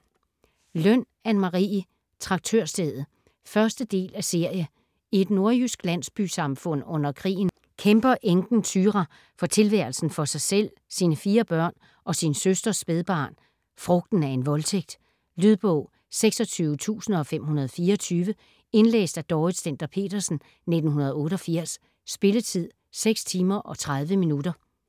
Løn, Anne Marie: Traktørstedet 1. del af serie. I et nordjysk landsbysamfund under krigen kæmper enken Thyra for tilværelsen for sig selv, sine fire børn og sin søsters spædbarn - frugten af en voldtægt. Lydbog 26524 Indlæst af Dorrit Stender-Petersen, 1988. Spilletid: 6 timer, 30 minutter.